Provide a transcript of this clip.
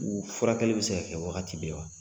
N ko furakɛli bɛ se kɛ wagati bɛɛ wa?